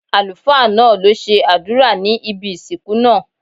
Àlùfáá náà lo ṣe àdúrà ní ibi ìsìnkú náà